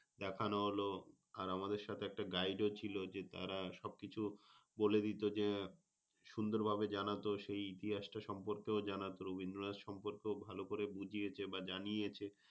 দেখানো হল। আর আমাদের সাথে একটা guide ও ছিল যে তার সবকিছু বলে দিত যে, সুন্দর ভাবে জানাতো সেই ইতিহাস টা সম্পর্কে ও জানাতো। রবীন্দ্রনাথ সম্পর্কে ভালো করে বুঝিয়েছে বা জানিয়েছে।